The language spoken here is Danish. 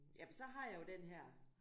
Jamen så har jeg jo den her